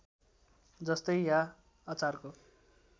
जस्तै या अचारको